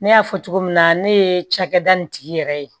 Ne y'a fɔ cogo min na ne ye cakɛda nin tigi yɛrɛ ye